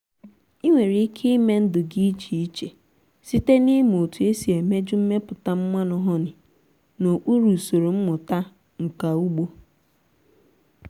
ị nwere ike ime ndụ gị iche iche site n’ịmụ otu esi emeju mmepụta mmanụ honey n’okpuru usoro mmụta nka ugbo.